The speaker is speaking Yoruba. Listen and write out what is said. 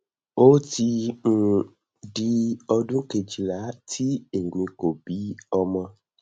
o ti um di odun kejila tí èmi kò bí ọmọ